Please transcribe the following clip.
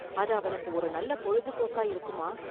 அது அவனுக்கு ஒரு நல்ல பொழுதுபோக்கா இருக்குமா?